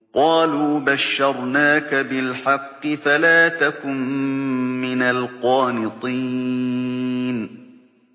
قَالُوا بَشَّرْنَاكَ بِالْحَقِّ فَلَا تَكُن مِّنَ الْقَانِطِينَ